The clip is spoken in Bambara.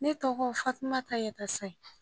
Ne tɔgɔ Fatuma Yatayi